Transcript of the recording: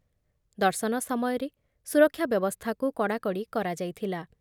ଦର୍ଶନ ସମୟରେ ସୁରକ୍ଷା ବ୍ୟବସ୍ଥାକୁ କଡ଼ାକଡ଼ି କରାଯାଇଥିଲା ।